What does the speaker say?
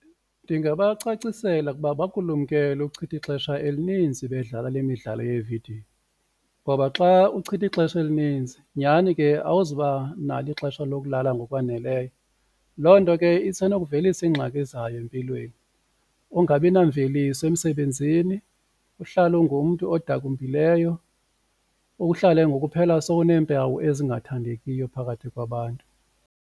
Ndingabacacisela ukuba bakulumkele ukuchitha ixesha elinintsi bedlala le midlalo yevidiyo ngoba xa uchitha ixesha elininzi nyhani ke awuzuba nalo ixesha lokulala ngokwaneleyo loo nto ke isenokuvelisa iingxaki zayo empilweni ungabi namveliso emsebenzini, uhlale ungumntu odakumbileyo, uhlale ngoku uphela sowuneempawu ezingathandekiyo phakathi kwabantu.